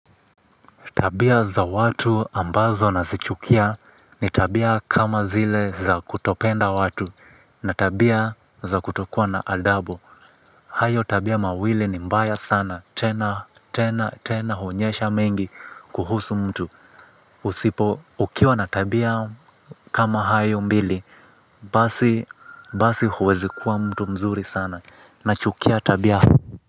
Tabia za watu ambazo nazichukia ni tabia kama zile za kutopenda watu na tabia za kutokua na adabu. Hayo tabia mawili ni mbaya sana, tena, tena, tena huonyesha mengi kuhusu mtu. Usipo, ukiwa na tabia kama hayo mbili, basi, basi huwezi kuwa mtu mzuri sana nachukia tabia.